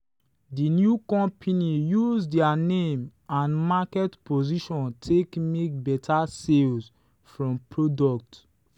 the new company use their name and market position take make better sales from product.